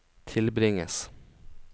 tilbringes